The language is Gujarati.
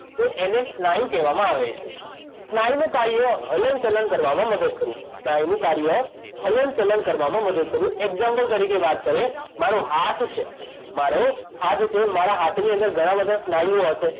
તો એને સ્નાયુ કહેવામાં આવે છે સ્નાયુ નું કાર્ય હલન ચલન કરવામાં મદદ કરવું સ્નાયુ નું કાર્ય હલન ચલન કરવામાં મદદ કરવું એક્ઝામ્પલ તરીકે વાત કરીએ મારો હાથ છે મારો હાથ છે મારા હાથની અંદર ઘણાં બધાં સ્નાયુઓ હશે